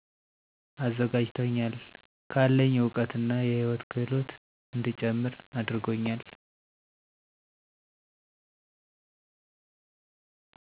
አዘጋጂቶኛል ከአለኝ እውቀት እና የህይወት ክህሎት እንድጨምር አድርጎኛል።